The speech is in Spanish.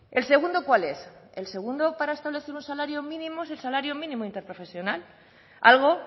el segundo cuál es el segundo para establecer un salario mínimo es el salario mínimo interprofesional algo